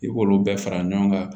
I k'olu bɛɛ fara ɲɔgɔn kan